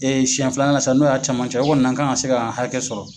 siɛn flanan na sa n'o y'a camancɛ ye, o kɔni nan k'an ka se ka hakɛ sɔrɔ.